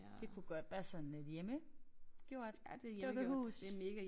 Det kunne godt være sådan et hjemmegjort dukkehus